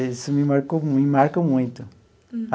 Isso me marcou me marca muito.